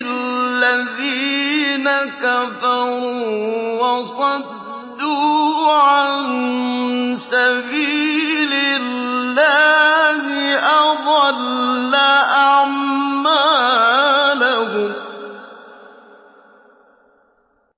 الَّذِينَ كَفَرُوا وَصَدُّوا عَن سَبِيلِ اللَّهِ أَضَلَّ أَعْمَالَهُمْ